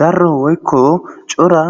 Darro woykko cora